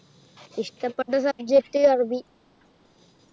ഇഷ്ടപ്പെട്ട subject അറബി